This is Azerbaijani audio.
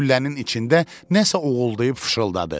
Güllənin içində nəsə oğuldıyıb fışıldadı.